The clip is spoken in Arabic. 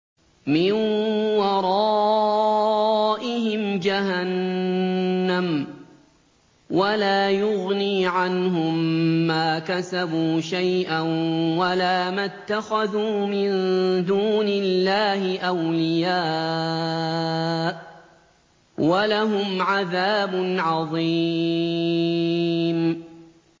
مِّن وَرَائِهِمْ جَهَنَّمُ ۖ وَلَا يُغْنِي عَنْهُم مَّا كَسَبُوا شَيْئًا وَلَا مَا اتَّخَذُوا مِن دُونِ اللَّهِ أَوْلِيَاءَ ۖ وَلَهُمْ عَذَابٌ عَظِيمٌ